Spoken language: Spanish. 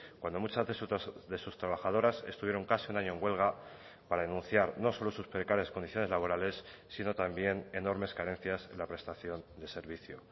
cuando muchas de sus trabajadoras estuvieron casi un año huelga para denunciar no solo sus precarias condiciones laborales sino también enormes carencias en la prestación de servicio